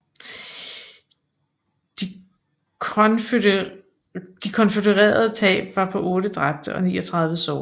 De konfødererede tab var på 8 dræbte og 39 sårede